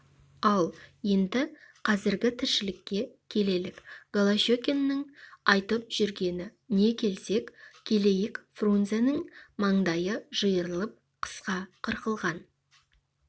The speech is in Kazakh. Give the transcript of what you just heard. ал енді қазіргі тіршілікке келелік голощекиннің айтып жүргені не келсек келейік фрунзенің маңдайы жиырылып қысқа қырқылған